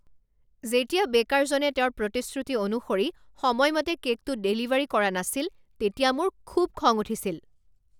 যেতিয়া বেকাৰজনে তেওঁৰ প্ৰতিশ্ৰুতি অনুসৰি সময়মতে কে'কটো ডেলিভাৰী কৰা নাছিল তেতিয়া মোৰ খুব খং উঠিছিল।